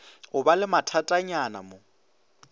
o ba le mathatanyana mo